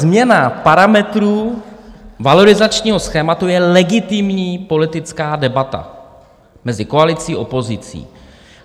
Změna parametrů valorizačního schématu je legitimní politická debata mezi koalicí a opozicí.